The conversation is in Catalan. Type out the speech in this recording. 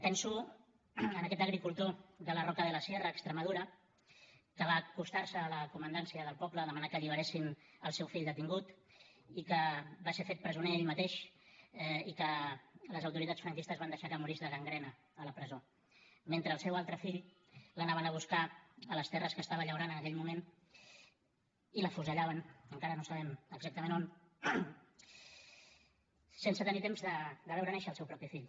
penso en aquest agricultor de la roca de la sierra a extremadura que va acostar se a la comandància del poble a demanar que alliberessin el seu fill detingut i que va ser fet presoner ell mateix i que les autoritats franquistes van deixar que morís de gangrena a la presó mentre al seu altre fill l’anaven a buscar a les terres que estava llaurant en aquell moment i l’afusellaven encara no sabem exactament on sense tenir temps de veure néixer el seu propi fill